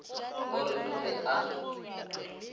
o re o be a